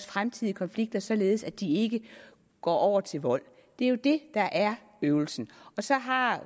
fremtidige konflikter således at de ikke går over til vold det er jo det der er øvelsen og så har